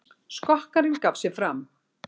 Skokkarinn gaf sig fram